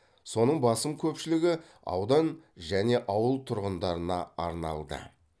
соның басым көпшілігі аудан және ауыл тұрғындарына арналды